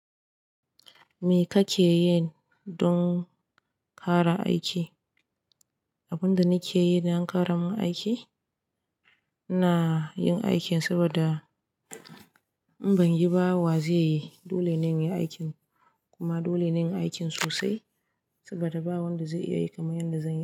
Me kake yi don ƙara aiki? Abin da nake yi na ƙara min aiki, na yin aikin saboda in ban yi ba wa zai yi. Dole na yi aikin kuma dole na yi aikin sosai saboda ba wanda zai iya yi kamar yadda zan yi.